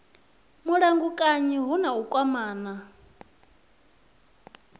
mulamukanyi hu na u kwamana